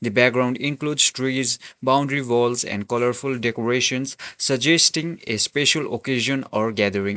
the background includes trees boundary walls and colourful decorations suggesting a special occasion or gathering.